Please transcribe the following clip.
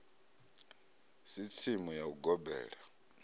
si tsimu ya u gobela